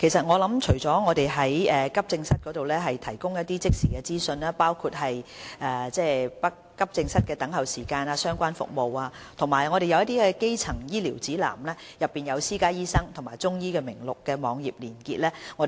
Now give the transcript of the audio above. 我們除了在急症室提供一些即時資訊，包括急症室的等候時間及相關服務的資料，亦有提供基層醫療指南，內有私家醫生及中醫名錄的網頁連結。